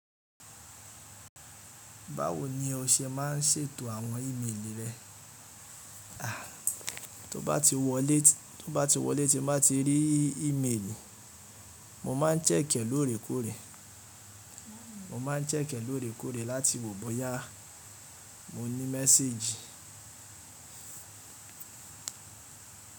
Báwo ni o ṣe má ń ṣètò àwọn ìmelì rẹ? A, tó bá ti wọlé, tó bá ti wọlé tí n bá ti rí ìmeelì, mo maa n check e lóòrèkóòrè, mo ma n check e lóòrèkóòrè láti wọ̀ bọ́yá mo ní méséjì.